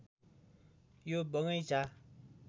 यो बगैंचा